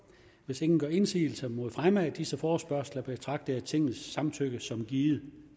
hvis ingen gør indsigelse mod fremme af disse forespørgsler betragter jeg tingets samtykke som givet